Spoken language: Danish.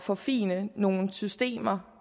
forfine nogle systemer